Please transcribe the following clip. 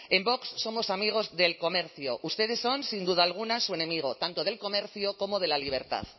en vox somos amigos del comercio ustedes son sin duda alguna su enemigo tanto del comercio como de la libertad